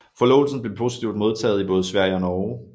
Forlovelsen blev positivt modtaget i både Sverige og Norge